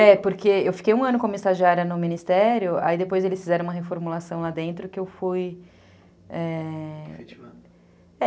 É, porque eu fiquei um ano como estagiária no ministério, aí depois eles fizeram uma reformulação lá dentro que eu fui... é...